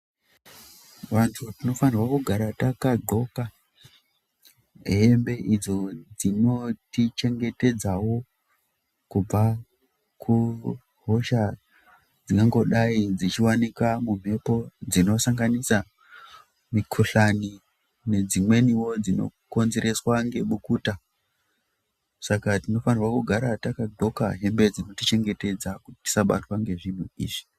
Vantu tinofanira takdhloka hembe idzo dzinotichengedzawo kubva kuhosha dzingangodai dzichiwanikwa mumhepo dzinosanganisa mikhuhlani nedzimweniwo dzinokonzereswa ngebukuta, saka tinofanira kugara takadhloka hembe dzinotichengetdza tisabatwa ngezvinhu izvi.